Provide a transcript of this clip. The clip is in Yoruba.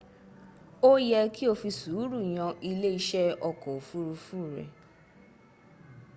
ó yẹ́ kí o fi sùúrù yan ilé iṣẹ́ ọkọ̀ òfurufú r